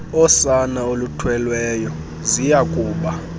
osana oluthweleyo ziyakuba